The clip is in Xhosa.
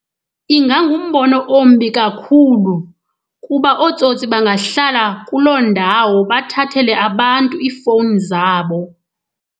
Ingangumbono ombi kakhulu kuba ootsotsi bangahlala kuloo ndawo bathathele abantu iifowuni zabo.